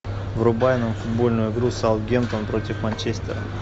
врубай нам футбольную игру саутгемптон против манчестера